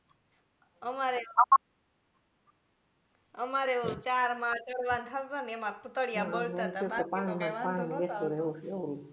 અમારે એ અમારે એ ઓલું ચાર ચઢવા ના ને એમાં તળિયા બળતા તા બાકી તો કાંઈ વાંધો નહતો આવતો